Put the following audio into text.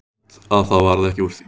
Fínt að það varð ekki úr því.